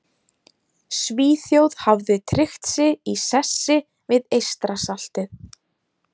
Svíþjóð hafði tryggt sig í sessi við Eystrasaltið.